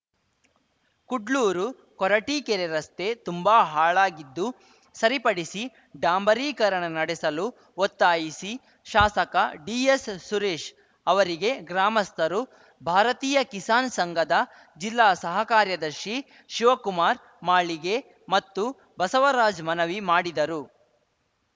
ಕುಡ್ಲೂರು ಕೊರಟೀಕೆರೆ ರಸ್ತೆ ತುಂಬಾ ಹಾಳಾಗಿದ್ದು ಸರಿಪಡಿಸಿ ಡಾಂಬರೀಕರಣ ನಡೆಸಲು ಒತ್ತಾಯಿಸಿ ಶಾಸಕ ಡಿಎಸ್‌ಸುರೇಶ್‌ ಅವರಿಗೆ ಗ್ರಾಮಸ್ಥರು ಭಾರತೀಯ ಕಿಸಾನ್‌ ಸಂಘದ ಜಿಲ್ಲಾ ಸಹ ಕಾರ್ಯದರ್ಶಿ ಶಿವಕುಮಾರ್‌ ಮಾಳಿಗೆ ಮತ್ತು ಬಸವರಾಜ್‌ ಮನವಿ ಮಾಡಿದರು